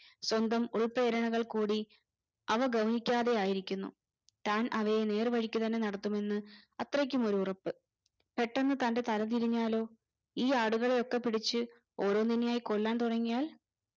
സ്വന്തം ഉൾപ്പേരണകൾ കൂടി അവ ഗൗനിക്കാതെയായിരിക്കുന്നു താൻ അവയെ നേർവഴിക്ക് തന്നെ നടത്തുമെന്ന് അത്രക്കുമൊരുറപ്പ് പെട്ടന്ന് തന്റെ തലതിരിഞ്ഞാലോ ഈ ആടുകളെയൊക്കെ പിടിച്ച് ഓരോന്നിനെയായി കൊല്ലാൻ തുടങ്ങിയാൽ